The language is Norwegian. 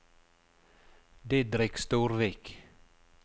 Didrik Storvik